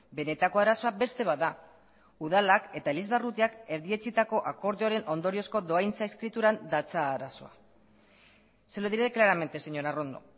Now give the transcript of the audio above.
benetako arazoa beste bat da udalak eta elizbarrutiak erdietsitako akordioaren ondoriozko dohaintza eskrituran datza arazoa se lo diré claramente señora arrondo